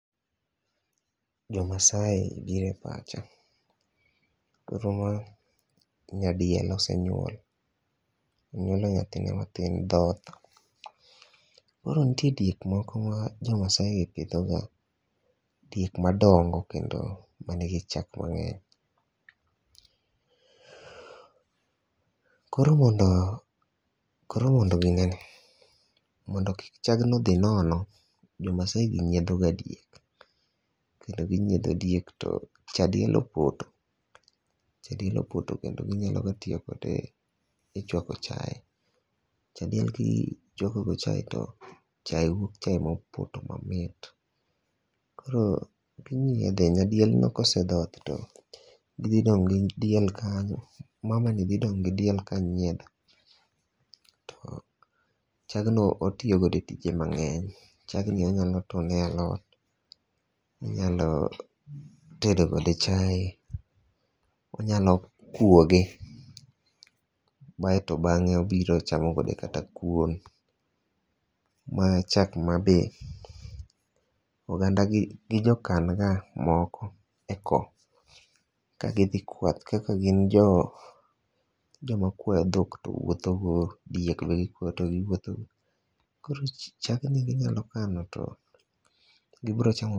Jo Maasai biro e pacha. Koro ma nyadiel osenyuol. Onyuolo nyathine mathin dhoth. Koro nitie diek moko ma jo Maasai gi pidho ga. Duek madongo kendo manigi chak mang'eny. Koro mondo koro mondo ginene mondo kik chag no dhi nono, jo Maasai gi nyiedho ga diek. Kendo ginyiedho diek to cha diel opoto. Cha diel opoto kendo ginyalo gatiyo kode e chwako chae. Cha diek ki chwako go chae to chae wuok chae mopoto mamit. Koro ginyiedhe. Nyadiel no kosedhoth to gidhi dong' gi diel kanyo. Mama ni dhi dong' gi diel ka nyiedho. To chagno otiyogodo e tije mang'eny. Chagni onyalo tone e alot. Onyalo tedo kode chai. Onyalo kuoge baeto bang'e obiro chamo kode kata kuon. Ma chak ma be oganda gi gijokan ga moko e ko. Ka gidhi kwath kaka gin jo joma kwa dhok to wuotho go diek be giwuotho go. Kor chagni ginyalo kano to gibiro chamo.